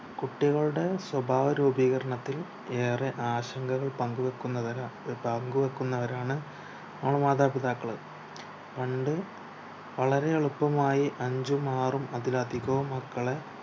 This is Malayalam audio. കുട്ടികളുടെ സ്വഭാവ രൂപീകരണത്തിൽ ഏറെ ആശങ്കകൾ പങ്കു വെക്കുന്നവരാ പങ്കു വെക്കുന്നവരാണ് ആണ് മാതാപിതാക്കള് പണ്ട് വളരെ എളുപ്പമായി അഞ്ചും ആറും അതിലധികവും മക്കളെ